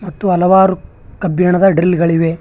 ಮತ್ತು ಹಲವಾರು ಕಬ್ಬಿಣದ ಡ್ರಿಲ್ ಗಳಿವೆ.